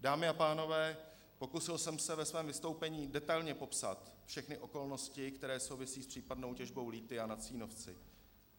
Dámy a pánové, pokusil jsem se ve svém vystoupení detailně popsat všechny okolnosti, které souvisí s případnou těžbou lithia na Cínovci.